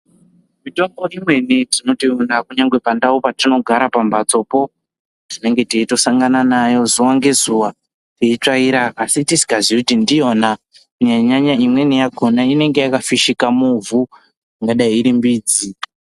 Mitombo imweni tinotoiona kunyangwe pandau patinogara pambatsopo tinenge teitosangana nayo zuwa ngezuwa teitsvaira asi tisingaziyi kuti ndiyona kunyanya nyaya imweni yakona inenge yakafishika muvhu ingadai iri midzi.